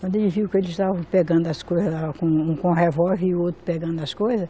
Quando ele viu que eles estavam pegando as coisas lá, um com revólver e o outro pegando as coisas,